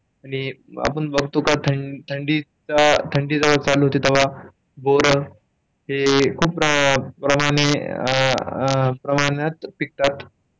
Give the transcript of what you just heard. आणि आपण बघतोय थंडी, थंडीच्या जेव्हा चालू होती तेव्हा, बोरं खूप प्रमाणे, खूप प्रमाणात पिकतात.